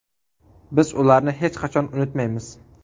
Biz ularni hech qachon unutmaymiz.